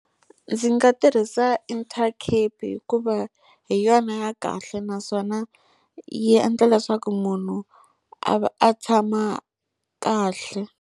Ndzi nga tirhisa Intercape hikuva hi yona ya kahle naswona yi endla leswaku munhu a va a tshama kahle.